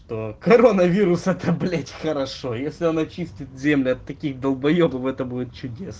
коронавирус это блять хорошо если он очистит землю от таких долбоебов это будет чудесно